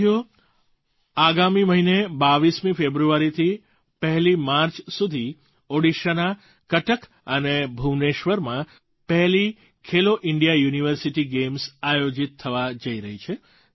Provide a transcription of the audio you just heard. સાથીઓ આગામી મહિને 22મી ફેબ્રુઆરીથી 1લી માર્ચ સુધી ઓડિશાના કટક અને ભુવનેશ્વરમાં પહેલી ખેલો ઇન્ડિયા યુનિવર્સિટી ગેમ્સ આયોજિત થવા જઈ રહી છે